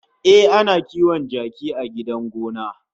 Ehh, ana kiwon kaji a gidan gona